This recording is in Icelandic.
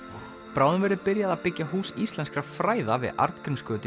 bráðum verður byrjað að byggja Hús íslenskra fræða við